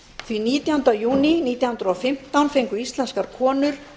því að nítjánda júní nítján hundruð og fimmtán fengu íslenskar konur